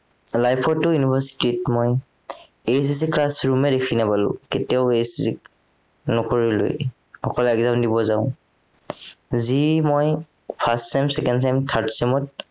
life টো university ত মই ACC class room এ দেখি নাপালো কেতিয়াও ACC নকৰিলোৱেই অকল exam দিব যাও যি মই first sem, second sem, third sem ত